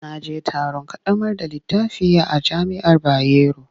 Na je taron ƙaddamar da littafi a jami'ar Bayero.